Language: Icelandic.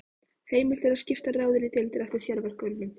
Heimilt er að skipta ráðinu í deildir eftir sérverkefnum.